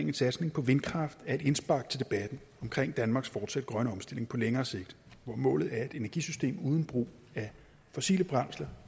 en satsning på vindkraft er et indspark til debatten omkring danmarks forsat grønne omstilling på længere sigt hvor målet er et energisystem uden brug af fossile brændsler